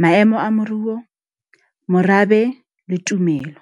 maemo a moruo, morabe le tumelo.